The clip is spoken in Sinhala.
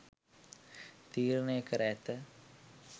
තීරණය කර ඇත.